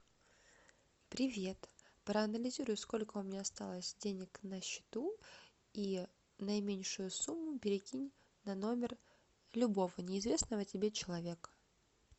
привет проанализируй сколько у меня осталось денег на счету и наименьшую сумму перекинь на номер любого неизвестного тебе человека